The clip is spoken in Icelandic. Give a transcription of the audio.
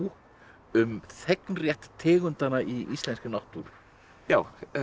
um þegnrétt tegundanna í íslenskri náttúru já